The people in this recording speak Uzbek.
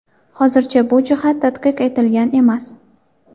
Hozircha bu jihat tadqiq etilgan emas.